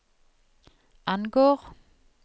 angår